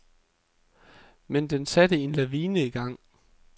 Men den satte en lavine i gang.